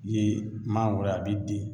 Ye mangoro ye a bi den